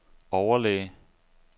overlæge